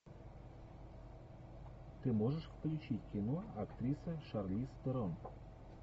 ты можешь включить кино актриса шарлиз терон